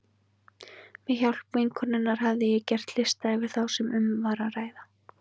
Með hjálp vinkonunnar hafði ég gert lista yfir þá sem um var að ræða.